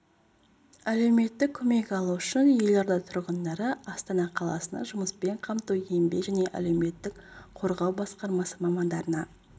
әлеуметтік көмек алу үшін елорда тұрғындары астана қаласының жұмыспен қамту еңбек және әлеуметтік қорғау басқармасы мамандарына